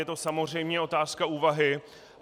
Je to samozřejmě otázka úvahy.